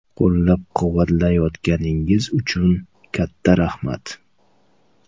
Qo‘llab-quvvatlayotganingiz uchun katta rahmat.